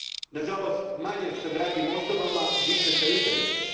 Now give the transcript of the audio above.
Nažalost manje s dragim osobama, više s internetom.